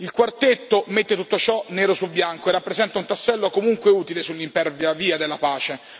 Il quartetto mette tutto ciò nero su bianco, il che rappresenta un tassello comunque utile sull'impervia la via della pace.